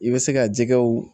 I bɛ se ka jɛgɛw